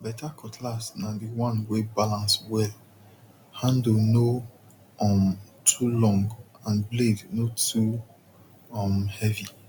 better cutlass na the one wey balance wellhandle no um too long and blade no too um heavy